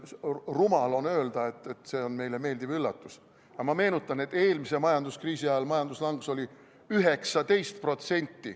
Rumal on öelda, et see on meile meeldiv üllatus, aga ma meenutan, et eelmise majanduskriisi ajal oli majanduslangus 19%.